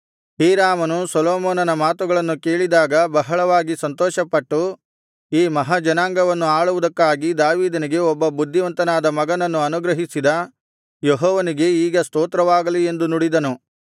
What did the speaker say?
ಹೀರಾಮನು ಸೊಲೊಮೋನನ ಮಾತುಗಳನ್ನು ಕೇಳಿದಾಗ ಬಹಳವಾಗಿ ಸಂತೋಷಪಟ್ಟು ಈ ಮಹಾ ಜನಾಂಗವನ್ನು ಆಳುವುದಕ್ಕಾಗಿ ದಾವೀದನಿಗೆ ಒಬ್ಬ ಬುದ್ಧಿವಂತನಾದ ಮಗನನ್ನು ಅನುಗ್ರಹಿಸಿದ ಯೆಹೋವನಿಗೆ ಈಗ ಸ್ತೋತ್ರವಾಗಲಿ ಎಂದು ನುಡಿದನು